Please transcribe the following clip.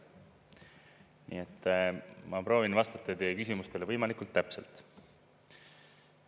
Nii et ma proovin vastata teie küsimustele võimalikult täpselt.